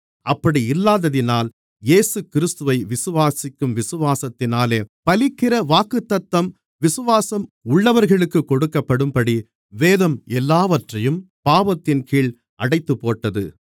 அப்படி இல்லாததினால் இயேசுகிறிஸ்துவை விசுவாசிக்கும் விசுவாசத்தினாலே பலிக்கிற வாக்குத்தத்தம் விசுவாசம் உள்ளவர்களுக்குக் கொடுக்கப்படும்படி வேதம் எல்லாவற்றையும் பாவத்தின்கீழ் அடைத்துப்போட்டது